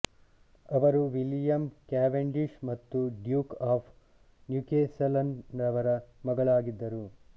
ಅವರು William Cavendish ಮತ್ತು duke of ನ್ಯುಕೆಸಲ್ನರವರ ಮಗಳಾಗಿದ್ದರು